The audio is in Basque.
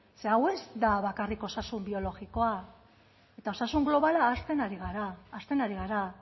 ze hau ez da bakarrik osasun biologikoa eta osasun globalaren ahazten ari gara